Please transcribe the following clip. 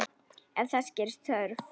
Ef þess gerist þörf